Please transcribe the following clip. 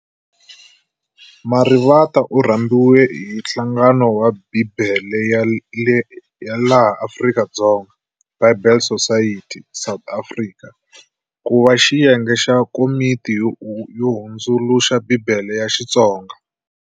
Marivate u rhambiwe hi nhlangano ya Bhibhele ya laha Afrika-Dzonga, "Bible Society"-"South Africa", kuva xiyenge xa komiti yo hundzuluxa Bhibhele ya Xitsonga.